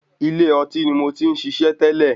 Ilé ọtí ní mo tí ń ṣiṣẹ́ tẹ́lẹ̀.